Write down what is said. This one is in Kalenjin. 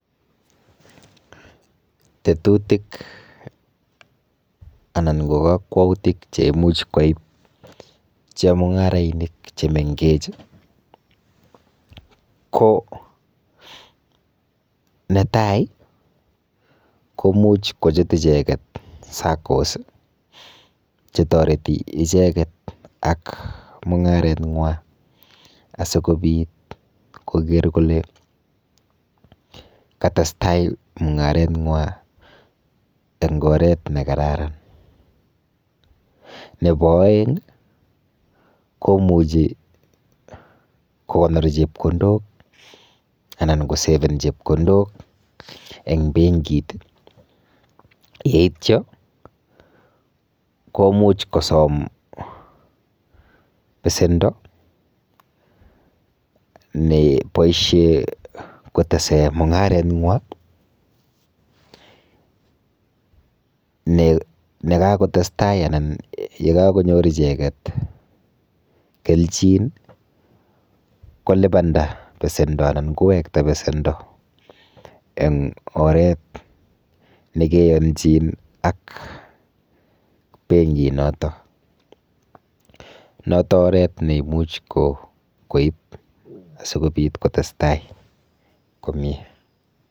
Tetutik anan ko panganutik cheimuch kwai chemung'arainik chemenkech ko netai ko imuch kochut icheket SACCOS chetoreti icheket ak mung'arenwa asikobit koker kole katestai mung'arengwa eng oret nekararan. Nepo oeng komuchi kokonor chepkondok anan koseven chepkondok eng benkit yeityo komuch kosom besendo neboishe kotese mung'areng'wa, nekakotestai anan yekakonyor icheket kelchin kolipanda pesendo anan kowekta pesendo eng oret nekeyonchin ak penkinoto. Noto oret neimuch koip asikopit kotestai komie.